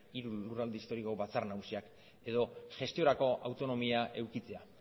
hiru lurralde historiko batzar nagusiak edo gestiorako autonomia edukitzea